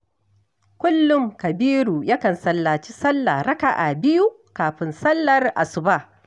Kullum kabiru yakan sallaci sallah raka'a biyu kafin sallar asuba